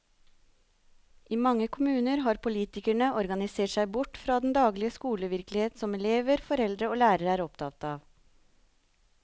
I mange kommuner har politikerne organisert seg bort fra den daglige skolevirkelighet som elever, foreldre og lærere er opptatt av.